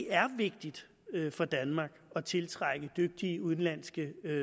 er vigtigt for danmark at tiltrække dygtige udenlandske